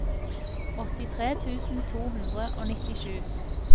åttitre tusen to hundre og nittisju